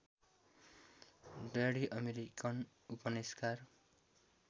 daddy American उपन्यासकार